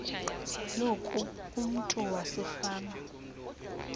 loku umntu wasefama